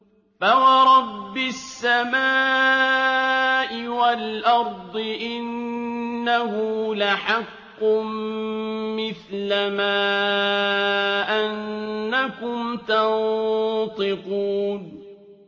فَوَرَبِّ السَّمَاءِ وَالْأَرْضِ إِنَّهُ لَحَقٌّ مِّثْلَ مَا أَنَّكُمْ تَنطِقُونَ